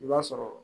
I b'a sɔrɔ